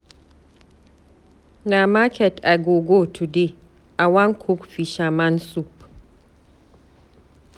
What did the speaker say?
Na market I go go today, I wan cook fisherman soup.